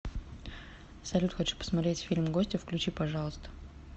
салют хочу посмотреть фильм гостья включи пожалуйста